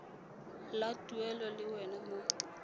la tuelo le wela mo